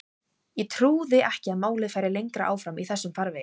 Ég trúði ekki að málið færi lengra áfram í þessum farvegi.